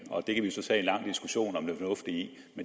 vi så tage en lang diskussion om det fornuftige